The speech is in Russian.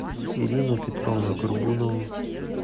ирину петровну горбунову